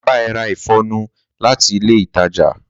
Má ba ẹ ra ìfọnu láti ilé ìtajà